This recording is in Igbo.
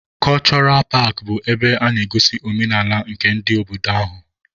Kọchọra paakị bụ ebe a na-egosi omenaala nke ndị obodo ahụ.